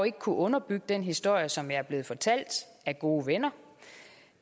ikke kunnet underbygge den historie som jeg er blevet fortalt af gode venner